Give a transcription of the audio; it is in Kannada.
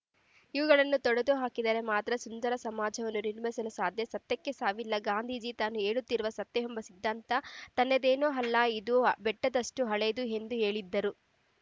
ಇವುಗಳನ್ನು ತೊಡೆದುಹಾಕಿದರೆ ಮಾತ್ರ ಸುಂದರ ಸಮಾಜವನ್ನು ನಿರ್ಮಿಸಲು ಸಾಧ್ಯ ಸತ್ಯಕ್ಕೆ ಸಾವಿಲ್ಲ ಗಾಂಧೀಜಿ ತಾನು ಹೇಳುತ್ತಿರುವ ಸತ್ಯವೆಂಬ ಸಿದ್ಧಾಂತ ತನ್ನದೇನೂ ಅಲ್ಲ ಇದು ಬೆಟ್ಟದಷ್ಟುಹಳೆಯದು ಎಂದು ಹೇಳಿದ್ದರು